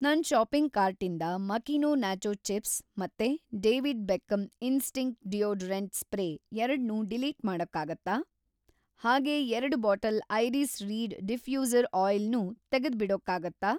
ನನ್‌ ಷಾಪಿಂಗ್‌ ಕಾರ್ಟಿಂದ ಮಕೀನೊ ನಾಚೋ ಚಿಪ್ಸ್ ಮತ್ತೆ David Beckham Instinct deodorant spray ಎರಡ್ನೂ ಡಿಲೀಟ್‌ ಮಾಡೋಕ್ಕಾಗತ್ತಾ? ಹಾಗೇ ಎರಡು bottle iris reed diffuser oil ನೂ ತೆಗೆದುಬಿಡೋಕ್ಕಾಗತ್ತಾ?